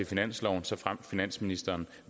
finansloven såfremt finansministeren